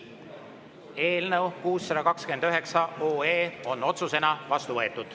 Eelnõu 629 on otsusena vastu võetud.